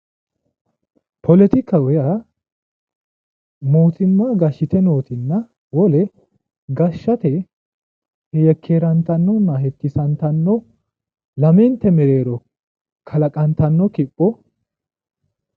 Politika yaa mootimma gashite nootinna wole gashate yekkerantanni hetisantano lamente mereero kalaqantano kipho